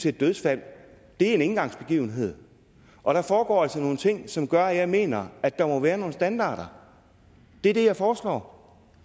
et dødsfald er en engangsbegivenhed og der foregår altså nogle ting som gør at jeg mener at der må være nogle standarder det er det jeg foreslår